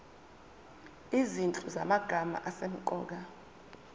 izinhlu zamagama asemqoka